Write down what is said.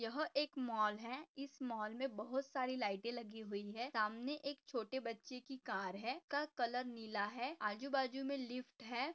यह एक मॉल है इस मॉल मे बहुत सारी लाईटे लगी हुई है सामने एक छोटे बच्चे की कार है का कलर नीला है आजूबाजू मे लिफ्ट है।